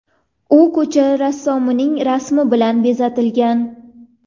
U ko‘cha rassomining rasmi bilan bezatilgan.